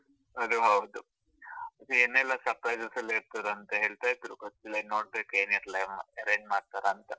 ಅದೂ ಹೌದು. ಇನ್ನು ಏನೆಲ್ಲಾ surprises ಎಲ್ಲಾ ಇರ್ತದೆ ಅಂತ ಹೇಳ್ತಾ ಇದ್ರು, ಗೊತ್ತಿಲ್ಲ ಇನ್ನು ನೋಡ್ಬೇಕು ಏನೇನೆಲ್ಲ arrange ಮಾಡತಾರಂತ.